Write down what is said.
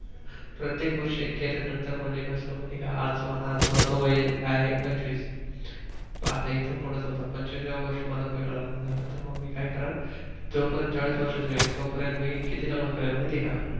प्रत्येक वर्षी एक केल नंतर म्हणजे कस माहित आहे का आज माझ वय आहे पंचविस. आता इथून पुढं समजा पंचविसाव्या वर्षी माझ पहिल लग्न झाल तर मी काय करण जो पर्यंत चाळीस वर्षाच होईल तो पर्यंत मी किती लग्न करेल माहित आहे का?